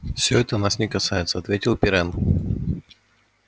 все это нас не касается ответил пиренн